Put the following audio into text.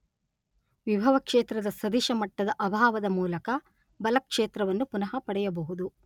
ವಿಭವ ಕ್ಷೇತ್ರದ ಸದಿಶ ಮಟ್ಟದ ಅಭಾವದ ಮೂಲಕ ಬಲ ಕ್ಷೇತ್ರವನ್ನು ಪುನಃ ಪಡೆಯಬಹುದು.